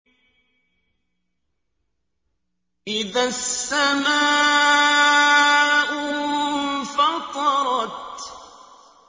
إِذَا السَّمَاءُ انفَطَرَتْ